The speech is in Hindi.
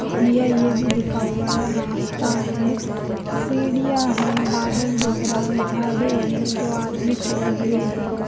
या यह भी लिखा हुआ है रास्ता है सीढ़ियाँ हैं बादल दिख रहा है झाड़ी है दो आदमी खड़े हुए हैं।